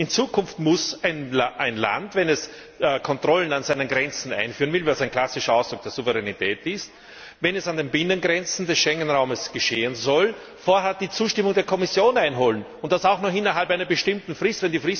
In Zukunft muss ein Land, wenn es Kontrollen an seinen Grenzen einführen will was ein klassischer Ausdruck der Souveränität ist wenn dies an den Binnengrenzen des Schengen Raumes geschehen soll, vorab die Zustimmung der Kommission einholen, und das auch noch innerhalb einer bestimmten Frist.